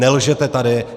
Nelžete tady!